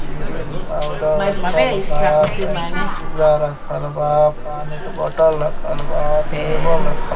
cream powder रखल बा कैची छुरा रखल बा पानी के बोतल रखल बा टेबल रखल बा |